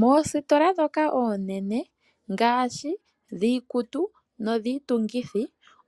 Moositola ndhoka oonene ngaashi dhiikutu nodhiitungithi,